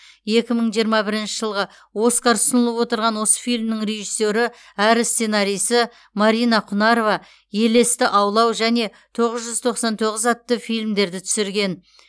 екі мың жиырма бірінші жылғы оскар ұсынылып отырған осы фильмнің режиссері әрі сценарисі марина құнарова елесті аулау және тоғыз жүз тоқсан тоғыз атты фильмдерді түсірген